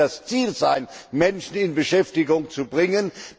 Das muss ja das Ziel sein, Menschen in Beschäftigung zu bringen.